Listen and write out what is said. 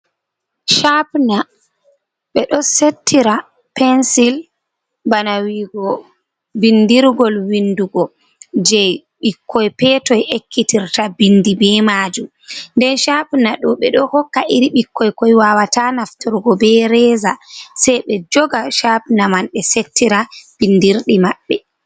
Shapina bedo settira pensil. bana wi'igo bindirgol windugo, je ɓikkoi petoi ekkitirta binɗi be majum. Nden shapina ɗo be ɗo hokka iri ɓikkoi koi wawata naftorgo be reza, sei be joga shapina man be settira bindirdi maɓɓe.